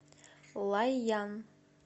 лайян